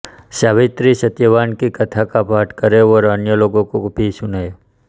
सावित्रीसत्यवान की कथा का पाठ करें और अन्य लोगों को भी सुनाएं